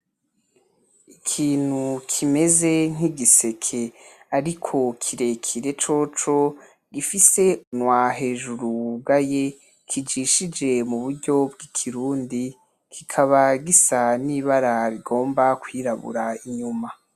Ikintu kimeze nk'igiseke ariko kirekire coco gifise kumunwa hejuru wugaye kijishije mu buryo bw'ikirundi, kikaba gisa n'ibara rigomba kwirabura inyuma.